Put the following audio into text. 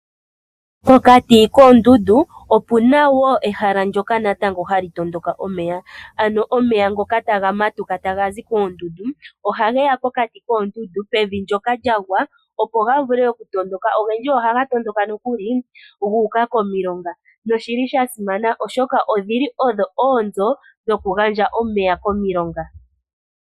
Pokati koondundu opuna wo natango ehala ndyoka hali tondoka omeya, ano omeya ngoka taga matuka taga zi koondundu ohage ya pokati koondundu pevi ndyoka lyagwa, opo ga vule oku tondoka. Ogendji ohaga tondoka nokuli guuka komilonga noshili sha simana, oshoka odhili odho oonzo dhoku gandja omeya komilonga.